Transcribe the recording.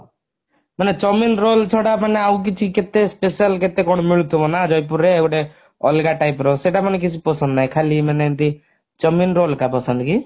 ମାନେ chowmein roll ଛଡା ମାନେ ଆଉ କିଛି କେତେ special କେତେ କଣ ମିଳୁଥିବ ନା ଜୟପୁର ରେ ଗୋଟେ ଅଲଗା type ର ସେଟା ମାନେ କିଛି ପସନ୍ଦ ନାହିଁ ଖାଲି ମାନେ ଏମିତି chowmein roll କା ପସନ୍ଦ କି